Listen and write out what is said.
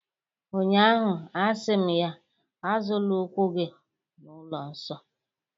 ụnyahụ, a sị m ya, Azọla ụkwụ gị n’ụlọ nsọ